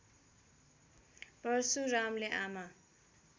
परशुरामले आमा